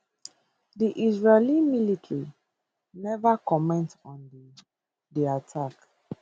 di israeli military neva comment on di attack